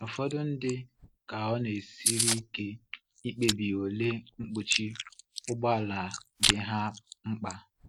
Ụfọdụ ndị ka ọ na-esiri ike ikpebi ole mkpuchi ụgbọ ala dị ha mkpa.